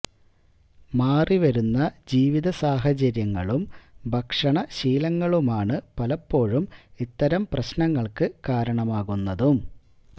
മാറി വരുന്ന ജീവിത സാഹചര്യങ്ങളും ഭക്ഷണശീലങ്ങളുമാണ് പലപ്പോഴും ഇത്തരം പ്രശ്നങ്ങള്ക്ക് കാരണമാകുന്നതും